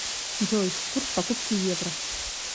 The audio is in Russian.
джой курс покупки евро